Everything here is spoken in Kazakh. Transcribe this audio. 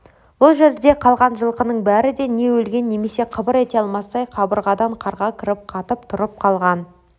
бұл жерде қалған жылқының бәрі де не өлген немесе қыбыр ете алмастай қабырғадан қарға кіріп қатып тұрып қалған